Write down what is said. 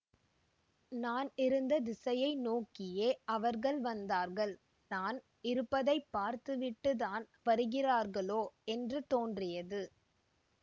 நான் இருந்த திசையை நோக்கியே அவர்கள் வந்தார்கள் நான் இருப்பதை பார்த்துவிட்டுத் தான் வருகிறார்களோ என்று தோன்றியது